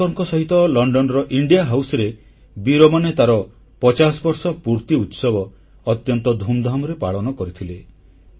ସାବରକରଙ୍କ ସହିତ ଲଣ୍ଡନର India House India ହାଉସର ବୀରମାନେ ତାର 50 ବର୍ଷ ପୂର୍ତ୍ତି ଉତ୍ସବ ଅତ୍ୟନ୍ତ ଧୁମଧାମ୍ ସହ ପାଳନ କରିଥିଲେ